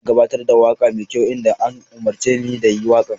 Ina gabatar da waƙa mai kyau idan an umarce ni da yin waƙa.